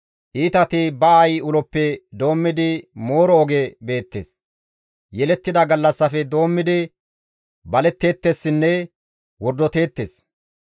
Iitati ba aayi uloppe doommidi mooro oge beettes; yelettida gallassafe doommidi baletteettessinne wordoteettes.